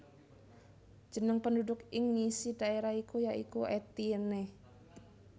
Jeneng penduduk ing ngisi daerah iku ya iku Etienne